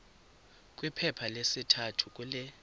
kwiphepha lesithathu kule